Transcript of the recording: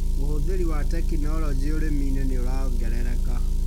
ũhũthĩri wa tekinoronjĩ ũrĩminĩ nĩũrongerereka.